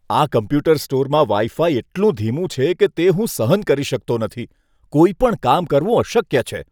આ કમ્પ્યુટર સ્ટોરમાં wifi એટલું ધીમું છે તે હું સહન કરી શકતો નથી. કોઈ પણ કામ કરવું અશક્ય છે.